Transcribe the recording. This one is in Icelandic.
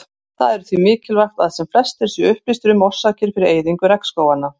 Það er því mikilvægt að sem flestir séu upplýstir um orsakir fyrir eyðingu regnskóganna.